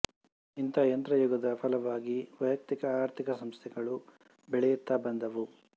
ಇಂಥ ಯಂತ್ರಯುಗದ ಫಲವಾಗಿ ವೈಯಕ್ತಿಕ ಆರ್ಥಿಕ ಸಂಸ್ಥೆಗಳು ಬೆಳೆಯುತ್ತ ಬಂದುವು